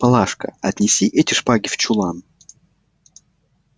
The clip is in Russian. палашка отнеси эти шпаги в чулан